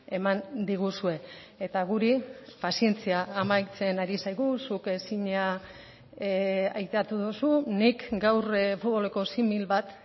eman diguzue eta guri pazientzia amaitzen ari zaigu zuk ezina aipatu duzu nik gaur futboleko simil bat